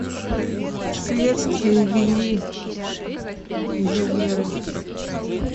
следствие вели изуверы